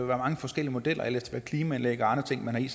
være mange forskellige modeller alt efter et klimaanlæg og andre ting man har i